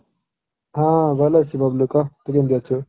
ହଁ ଭଲ ଅଛି ବବଲୁ କହ ତୁ କେମିତି ଅଛୁ?